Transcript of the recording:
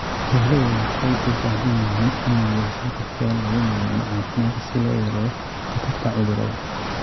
Xooluhu waxay u baahan yihiin inay yeeshaan qorshayaal lagu maamulo caafimaadka si loo yareeyo khatarta cudurrada.